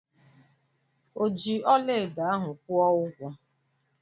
O ji ọlaedo ahu kwụọ ụgwọ?